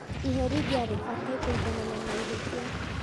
Iherithia rĩbatiĩ kũiganana na ihĩtia